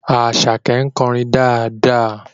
Àṣàkẹ́ ń kọrin dáadáa